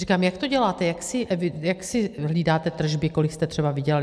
Říkám: Jak to děláte, jak si hlídáte tržby, kolik jste třeba vydělaly?